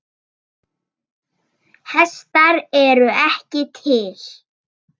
Hestar eru ekki til.